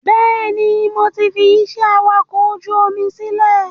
Bẹ́ẹ̀ni, mo ti fi ìṣe awakọ̀ ojú omi sílẹ̀